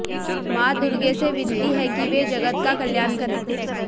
मां दुर्गे से विनती है कि वे जगत का कल्याण करें